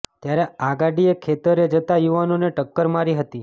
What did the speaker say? ત્યારે આ ગાડીએ ખેતરે જતા યુવાનોને ટક્કર મારી હતી